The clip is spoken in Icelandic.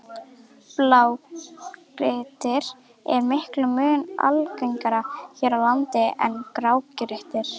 Blágrýti er miklum mun algengara hér á landi en grágrýti.